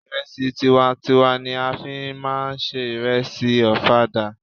Ìrẹsì tiwa n tiwa ni a fí máà ń se ìrẹsì ọ̀fadà.